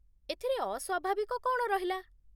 ଏଥିରେ ଅସ୍ୱାଭାବିକ କ'ଣ ରହିଲା ?